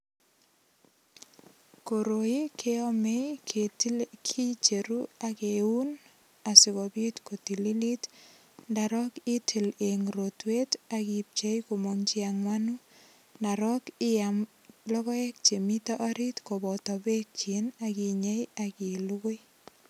Koroi keame, kicheru ak keun asigopit kotililit, ndarok itil eng rotwet ak ipchei komong che angwanu. Ndorok iyam logoek che mito orit koboto beekyik ak inyei ak ilugui.